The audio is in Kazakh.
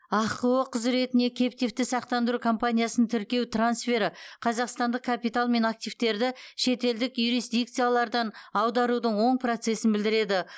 ахқо құзыретіне кэптивті сақтандыру компаниясын тіркеу трансфері қазақстандық капитал мен активтерді шетелдік юрисдикциялардан аударудың оң процесін білдіреді